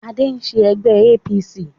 Adé ń ṣe ẹgbẹ́ APC